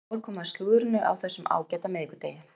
Þá er komið að slúðrinu á þessum ágæta miðvikudegi.